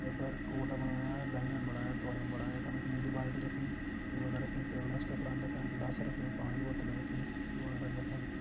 वै पर कोट बणायां लेहंगन बणायां कोलिन बणायां यखम नीली बाल्टी रखीं टेबल रखीं टेबल एंच कपड़ान रख्यां गिलास रख्युं पाणी बोतल रखीं क्यू.आरन रख्यां।